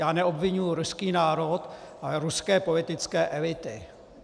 Já neobviňuji ruský národ, ale ruské politické elity.